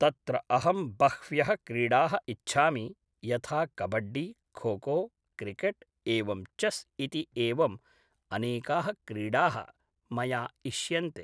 तत्र अहं बह्व्यः क्रीडाः इच्छामि यथा कबड्डी खोखो क्रिकेट् एवं चेस् इति एवम् अनेकाः क्रीडाः मया इष्यन्ते